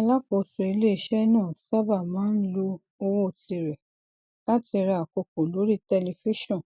alákóso ilé iṣẹ náà sábà máa ń lo owó tirẹ láti ra àkókò lórí tẹlìfíṣọn